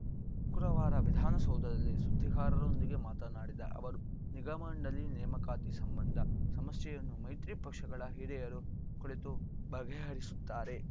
ಶುಕ್ರವಾರ ವಿಧಾವಸೌಧದಲ್ಲಿ ಸುದ್ದಿಗಾರರೊಂದಿಗೆ ಮಾತನಾಡಿದ ಅವರು ನಿಗಮ ಮಂಡಳಿ ನೇಮಕಾತಿ ಸಂಬಂಧ ಸಮಸ್ಯೆಯನ್ನು ಮೈತ್ರಿ ಪಕ್ಷಗಳ ಹಿರಿಯರು ಕುಳಿತು ಬಗೆಹರಿಸುತ್ತಾರೆ